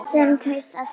Sem kaus að þegja.